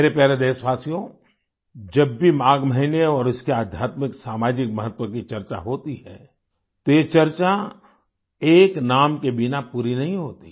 मेरे प्यारे देशवासियो जब भी माघ महीने और इसके आध्यात्मिक सामाजिक महत्त्व की चर्चा होती है तो ये चर्चा एक नाम के बिना पूरी नहीं होती